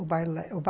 O balé.